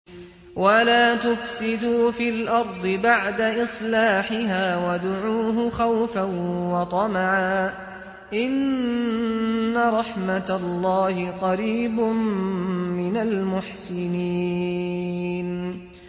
وَلَا تُفْسِدُوا فِي الْأَرْضِ بَعْدَ إِصْلَاحِهَا وَادْعُوهُ خَوْفًا وَطَمَعًا ۚ إِنَّ رَحْمَتَ اللَّهِ قَرِيبٌ مِّنَ الْمُحْسِنِينَ